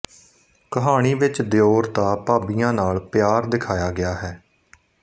ਕਹਾਣੀ ਵਿੱਚ ਦਿਉਰ ਦਾ ਭਾਬੀਆਂ ਨਾਲ ਪਿਆਰ ਦਿਖਾਇਆ ਗਿਆ ਹੈ